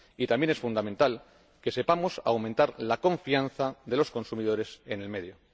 También es fundamental que sepamos aumentar la confianza de los consumidores en el medio.